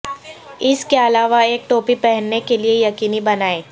اس کے علاوہ ایک ٹوپی پہننے کے لئے یقینی بنائیں